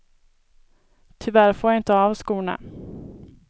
Tyvärr får jag inte av skorna.